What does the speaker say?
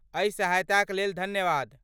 एहि सहायताक लेल धन्यवाद।